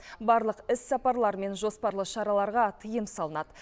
барлық іссапарлар мен жоспарлы шараларға тыйым салынады